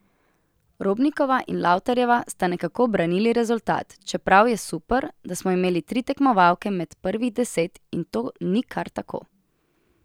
Robnikova in Lavtarjeva sta nekako branili rezultat, čeprav je super, da smo imeli tri tekmovalke med prvih trideset, in to ni kar tako.